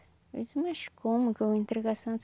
Eu disse, mas como que eu vou entregar a santa?